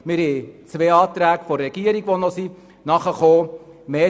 Wir haben zwei Anträge der Regierung, die noch hinzukamen.